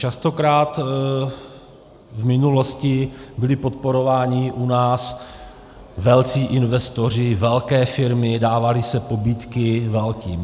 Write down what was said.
Častokrát v minulosti byli podporováni u nás velcí investoři, velké firmy, dávaly se pobídky velkým.